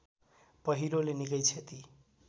पहिरोले निकै क्षति